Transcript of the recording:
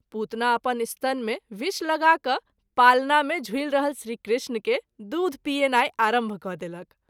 पुतना अपन स्तन मे विष लगा कय पालना मे झुलि रहल श्री कृष्ण के दूध पियेनाई आरंभ क’ देलक।